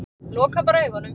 Loka bara augunum.